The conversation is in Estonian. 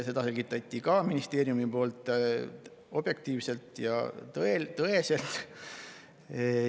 Seda selgitas ministeerium objektiivselt ja tõeselt.